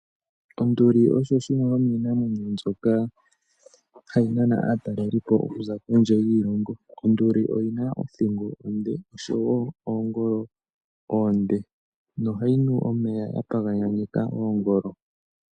Onduli osho shimwe shominamwenyo shono hashi nana atalelipo okuza kondje yiilongo .Onduli oyina othingo onde noshowo oongolo onde nohayi nu omeya ya paganyaneka oongolo.